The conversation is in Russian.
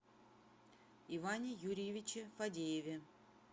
иване юрьевиче фадееве